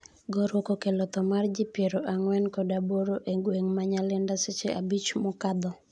gorruok okello tho mar ji piero ang'wen kod aboro e gweng' ma Nyalenda seche abich mokadho